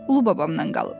Ulu babamdan qalıb.